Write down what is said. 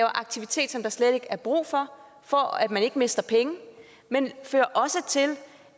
aktivitet som der slet ikke er brug for for at man ikke skal miste penge men fører også til